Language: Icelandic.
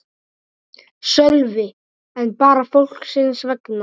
Sölvi: En bara fólksins vegna?